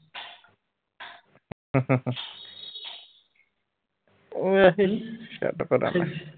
ਵੈਸੇ ਹੀ ਛੱਡ ਪਰਾ।